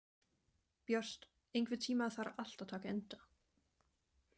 Björt, einhvern tímann þarf allt að taka enda.